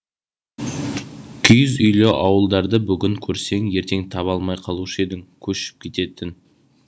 киіз үйлі ауылдарды бүгін көрсең ертең таба алмай қалушы едің көшіп кететін